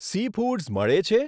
Seafoods મળે છે?